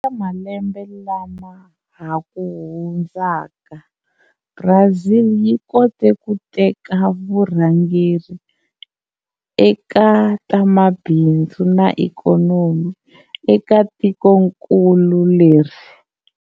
Eka malembe lama hakuhundzaka, Brazil yi kote ku teka vurhangeri eka ta mabindzu na ikhonomi, eka tikonkulu leri.